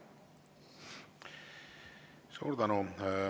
Suur tänu!